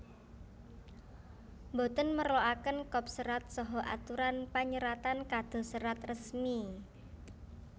Boten merloaken kop serat saha aturan panyeratan kados serat resmi